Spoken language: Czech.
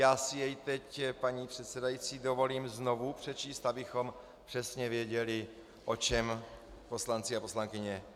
Já si jej teď, paní předsedající, dovolím znovu přečíst, abychom přesně věděli, o čem poslanci a poslankyně mají hlasovat.